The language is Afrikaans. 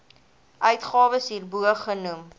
uitgawes hierbo genoem